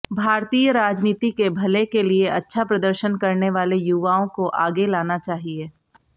भारतीय राजनीति के भले के लिए अच्छा प्रदर्शन करने वाले युवाओं को आगे लाना चाहिए